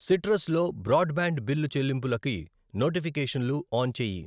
Citrus లో broadband బ్యాండ్ బిల్లు చెల్లింపులకి నోటిఫికేషన్లు ఆన్ చేయి.